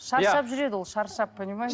шаршап жүреді ол шаршап понимаешь